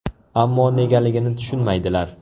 Ammo negaligini tushunmaydilar.